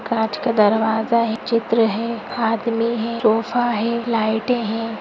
कांच का दरवाजा है चित्र है आदमी है सोफा है लाइटे हैं। --